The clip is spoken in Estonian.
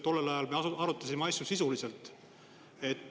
Tollel ajal me arutasime asju sisuliselt.